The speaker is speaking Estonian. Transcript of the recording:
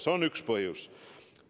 See on üks põhjus.